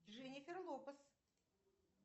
дженифер лопес